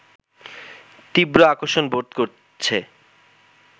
তীব্র আকর্ষণ বোধ করছে